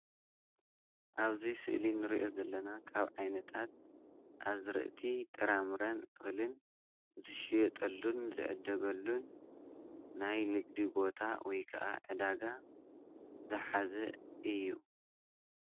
ኣብዚ ስእሊ እንሪኦ ዘለና ካብ ዓይነታት ኣዝርእቲ ጥራምረ ን እኽልን ዝሽየጠሉን ዝዕደገሉን ናይ ንግዲ ቦታ ወይከኣ ዕዳጋ ዝሓዘ እዩ፡፡